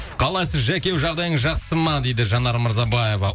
қалайсыз жаке жағдайыңыз жақсы ма дейді жанар мырзабаева